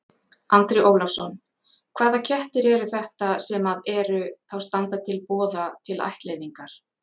Andri Ólafsson: Hvaða kettir eru þetta sem að eru, þá standa til boða til ættleiðingar?